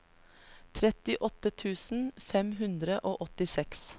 trettiåtte tusen fem hundre og åttiseks